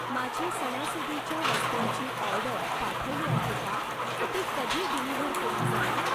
माझी सणासुदीच्या वस्तूंची ऑर्डर पाठवली आहे का? ती कधी डिलिव्हर केली जाईल?